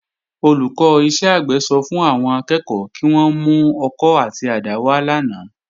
Olùkọ́ iṣẹ́ àgbẹ̀ sọ fún àwọn akẹ́kọ̀ọ́ kí wón mú ọkọ́ àti àdá wá lánàá